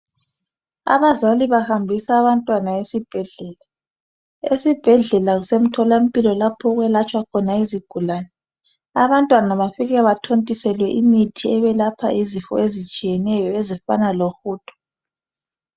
Abazali bahambisa abantwana esibhedlela esibhedlela kusemtholampilo lapho okwelatshwa khona izigulane abantwana bafike bathontiselwe imithi ebelapha izifo ezitshiyeneyo ezifana lohudo.